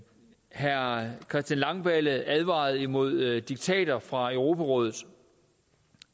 herre christian langballe advarede imod diktater fra europarådet